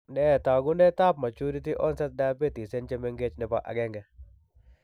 Nee taakunetaab Maturity onsrt diabetes en chemgetch, nebo 1?